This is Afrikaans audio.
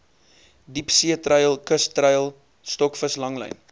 diepseetreil kustreil stokvislanglyn